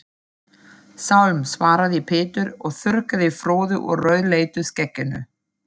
Sálm, svaraði Pétur og þurrkaði froðu úr rauðleitu skegginu.